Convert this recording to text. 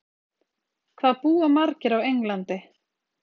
hvað búa margir á englandi